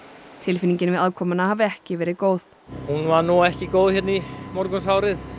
tilfinningin við aðkomuna hafi ekki verið góð hún var nú ekki góð hérna í morgunsárið